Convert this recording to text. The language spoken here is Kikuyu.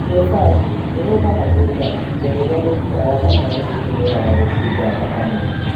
GFR ĩrũgamagĩrĩra ihinda rĩrĩa mĩkiha ya thakame ĩtũmĩraga gũcunga thakame